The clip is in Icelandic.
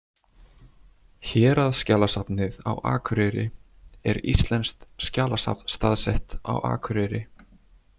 Héraðsskjalasafnið á Akureyri er íslenskt skjalasafn staðsett á Akureyri.